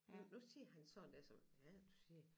Nu siger han sådan der som hvad er det du siger